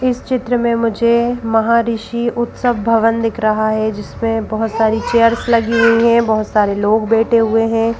इस चित्र में मुझे महाऋषि उत्सव भवन दिख रहा है जिसमें बहुत सारी चेयर्स लगी हुई है बहुत सारे लोग बैठे हुए हैं।